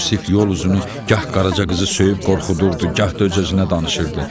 Yusif yol uzunu gah Qaraca qızı söyüb qorxudurdu, gah da öz-özünə danışırdı.